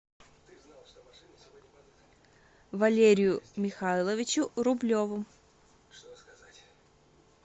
валерию михайловичу рублеву